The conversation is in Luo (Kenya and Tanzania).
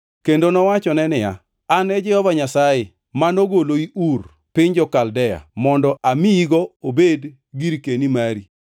Kendo nowachone niya, “An e Jehova Nyasaye manogoloi Ur piny jo-Kaldea mondo amiyigo obed girkeni mari.”